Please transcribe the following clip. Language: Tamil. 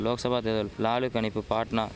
லோக்சபா தேர்தல் லாலு கணிப்பு பாட்னா